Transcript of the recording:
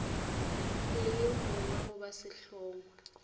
le yo mongwe goba sehlongwa